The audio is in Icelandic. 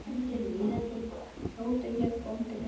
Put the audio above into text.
Sóti hét bóndi Beru.